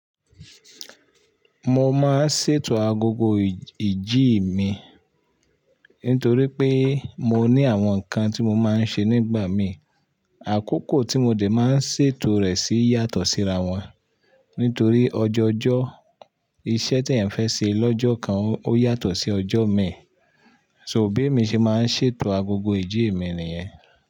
Mo máa ń ṣètò agogo ìjí mi nítorí pé mo ní àwọn nǹkan tí mo máa ń ṣe nígbà mi. Àkókò tí mo dè máa ń ṣètò rẹ̀ sì yàtọ̀ síra wọn. Nítorí ọjọ̀ọjọ́ iṣẹ́ tí ẹ̀ ń fẹ́ ṣe lọ́jọ́ kan ó yàtọ̀ sí ọjọ́ mi. So bí mi ṣe máa ń ṣètò agogo ìjí mi nìyẹn.